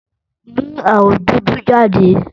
Mú awọ dúdú jáde!